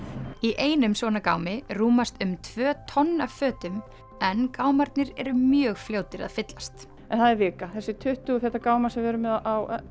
í einum svona gámi rúmast um tvö tonn af fötum en gámarnir eru mjög fljótir að fyllast það er vika þessir tuttugu feta gámar sem við erum með á